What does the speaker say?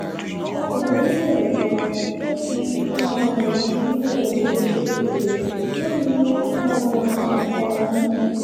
ọkùnrin oníròyìn kan tó fi um ìlú ondo ṣebùgbé ló ni um oko ọ̀hún